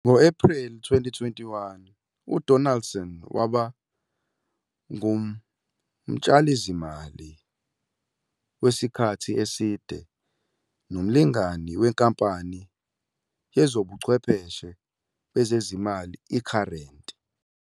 Ngo-Ephreli 2021, uDonaldson waba ngumtshalizimali wesikhathi eside nomlingani wenkampani yezobuchwepheshe bezezimali i-Current.